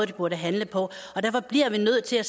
de burde handle på derfor bliver vi nødt til at